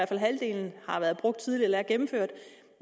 fald halvdelen har været brugt tidligere eller er gennemført